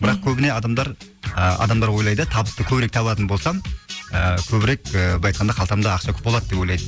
бірақ көбіне адамдар а адамдар ойлайды табысты көбірек табатын болсам ы көбірек ы былай айтқанда қалтамда ақша көп болады деп ойлайды